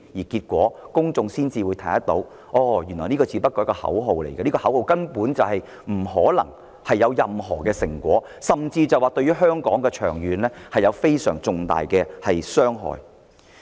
結果公眾才能看清楚，他們說的原來只是口號，根本不可能有任何成果，卻長遠對香港造成非常重大的傷害。